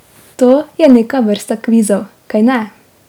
To je neka vrsta kvizov, kajne?